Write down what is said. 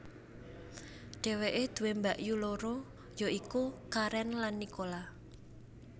Dheweke duwé mbakyu loro ya iku Karen lan Nicola